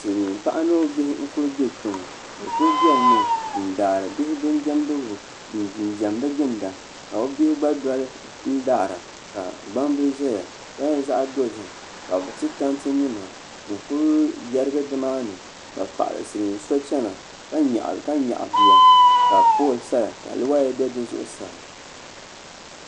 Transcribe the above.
silmiin paɣa ni o bihi n ku bɛ kpɛ ŋɔ bi ku biɛni mi n daari bihi bin diɛmdigu n ginda ka bi bihi gba dɔli n daara ka gbambili ʒɛya ka nyɛ zaɣ dozim ka bi ti tanti nima n ku yɛrigi nimaani ka silmiin paɣa so chɛna ka nyaɣa bia ka pool saya ka woya bɛ di zuɣusaa